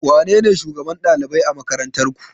Wanene shugaban ɗalibai a makarantarku?